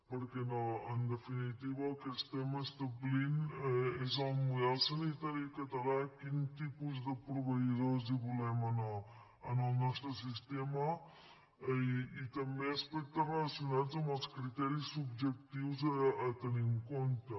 perquè en definitiva el que estem establint és el model sanitari català quin tipus de proveïdors hi volem en el nostre sistema i també aspectes relacionats amb els criteris subjectius a tenir en compte